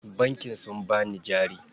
Bankin sun bani jari.